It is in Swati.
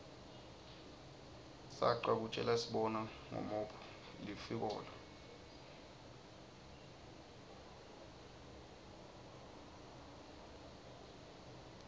sacwa kutjelasibona ngomophg lifikola